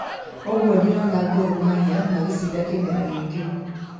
Ũgũo ndĩrona Gor Mahia magĩcinda kĩmera gĩki